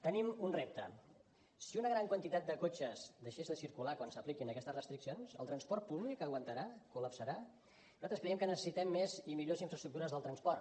tenim un repte si una gran quantitat de cotxes deixés de circular quan s’apliquin aquestes restriccions el transport públic aguantarà col·lapsarà nosaltres creiem que necessitem més i millors infraestructures del transport